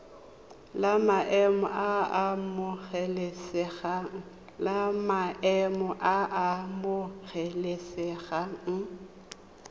la maemo a a amogelesegang